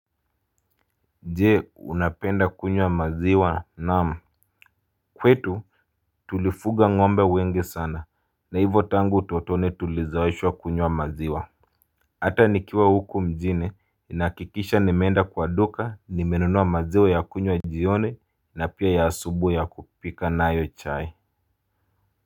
Je, unapenda kunywa maziwa? Naam, kwetu tulifuga ng'ombe wengi sana, na hivo tangu utotoni tulizoeshwa kunywa maziwa. Hata nikiwa huku mjini ninakikisha nimeenda kwa duka, nimenunua maziwa ya kunywa jioni na pia ya asubuhi ya kupika nayo chai.